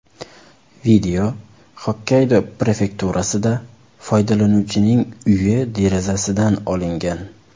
Video Xokkaydo prefekturasida foydalanuvchining uyi derazasidan olingan.